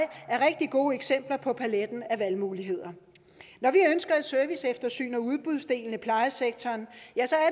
er rigtig gode eksempler på at palet af valgmuligheder når vi ønsker et serviceeftersyn af udbudsdelen af plejesektoren